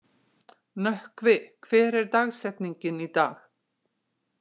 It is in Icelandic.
Nökkvi, hver er dagsetningin í dag?